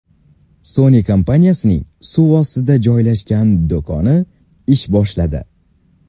Sony kompaniyasining suv ostida joylashgan do‘koni ish boshladi .